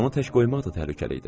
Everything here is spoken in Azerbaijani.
Onu tək qoymaq da təhlükəli idi.